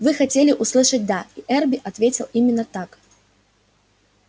вы хотели услышать да и эрби ответил именно так